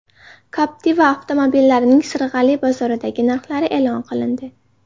Captiva avtomobillarining Sirg‘ali bozoridagi narxlari e’lon qilindi.